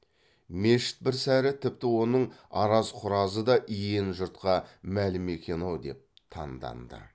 мешіт бір сәрі тіпті оның араз құразы да иен жұртқа мәлім екен ау деп таңданды